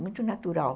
Muito natural.